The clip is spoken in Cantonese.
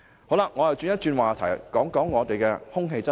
我想轉換話題，討論空氣質素。